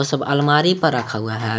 सब अलमारी पर रखा हुआ है।